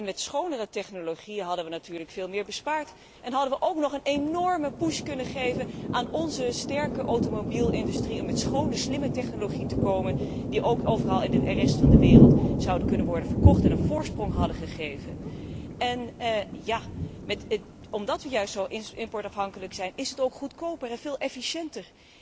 Met schonere technologie hadden we natuurlijk veel meer bespaard en hadden we ook nog een enorme push kunnen geven aan onze sterke automobielindustrie om met schone, slimme technologie te komen die ook overal in de rest van de wereld zou kunnen worden verkocht en ons een voorsprong had gegeven. Omdat wij zo importafhankelijk zijn is het juist ook goedkoper en veel efficiënter.